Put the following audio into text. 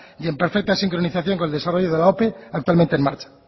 y en perfecta sincronización con el desarrollo de la ope actualmente en marcha